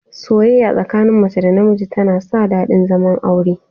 Soyayya tsakanin mace da miji tana sa daɗin zaman aure